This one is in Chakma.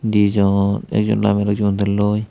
dijon ekjon namelloi ekjon udelloi.